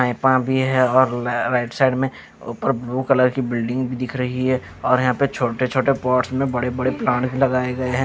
पाइपा भी है और राइट साइड में ऊपर ब्लू कलर की बिल्डिंग भी दिख रही हैं और यहां पे छोटे छोटे पॉट्स में बड़े बड़े प्लांट्स लगाए गए हैं।